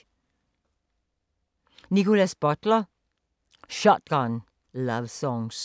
Nickolas Butler: Shotgun lovesongs